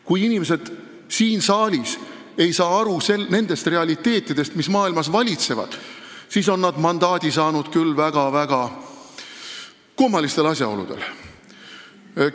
Kui inimesed siin saalis ei saa aru nendest realiteetidest, mis maailmas valitsevad, siis on nad küll väga-väga kummalistel asjaoludel mandaadi saanud.